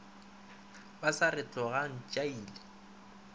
ba sa re tlogang tšhaile